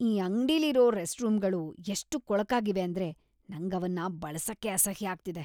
ಈ ಅಂಗ್ಡಿಲಿರೋ ರೆಸ್ಟ್‌ರೂಮ್ಗಳು ಎಷ್ಟ್ ಕೊಳಕಾಗಿವೆ ಅಂದ್ರೆ ನಂಗ್ ಅವನ್ನ ಬಳ್ಸಕ್ಕೇ ಅಸಹ್ಯ ಆಗ್ತಿದೆ.